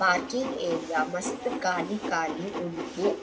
Parking area ಮಸ್ತ್ ಖಾಲಿ ಖಾಲಿ ಉಂಡು.